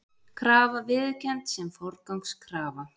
Krafa viðurkennd sem forgangskrafa